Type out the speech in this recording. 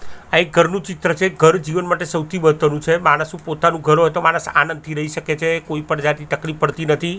આ એક ઘરનું ચિત્ર છે ઘર જીવન માટે સૌથી છે માણસનું પોતાનું ઘર હોય તો માણસ આનંદથી રહી શકે છે કોઈપણ જાતની તકલીફ પડતી નથી.